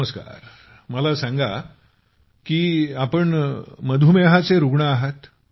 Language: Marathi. नमस्कार ठीक आहे मला सांगण्यात आलं आहे की आपण मधुमेहाचे रूग्ण आहात